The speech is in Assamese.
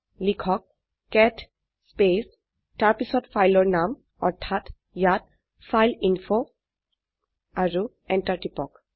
লিখক কেট স্পেচ তাৰপিছত ফাইলৰ নাম অৰ্থাৎ ইয়াত ফাইলএইনফো আৰু এন্টাৰ টিপক